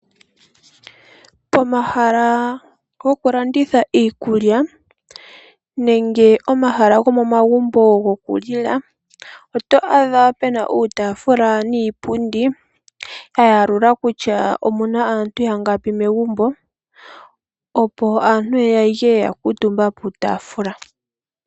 Pomahala gokulanditha iikulya nenge omahala gomomagumbo gokulila oto adha pena uutafula niipundi ya yalula kutya omuna aantu yangapi megumbo opo aantu yeye yalye yakuutumba piitafula.